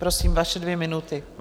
Prosím, vaše dvě minuty.